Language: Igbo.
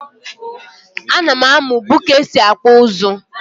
A nam amu bu ka esi akpụ ụzụ.